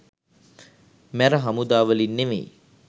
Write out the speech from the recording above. මැර හමුදා වලින් නෙමෙයි